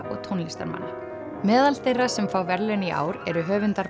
og tónlistarmanna meðal þeirra sem fá verðlaun í ár eru höfundar